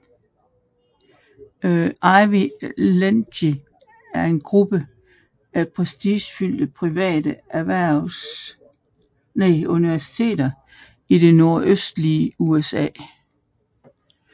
Ivy League er en gruppe af prestigefyldte private universiteter i det nordøstlige USA